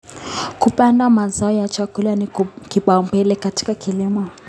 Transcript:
Kupanda mazao ya chakula ni kipaumbele katika kilimo.